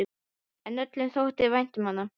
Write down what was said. En öllum þótti vænt um hann.